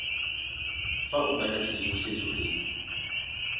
fa o batla tshedimosetso e